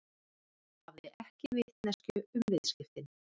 Hafði ekki vitneskju um viðskiptin